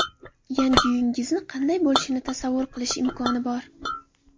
Yangi uyingizni qanday bo‘lishini tasavvur qilish imkoni bor.